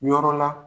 Yɔrɔ la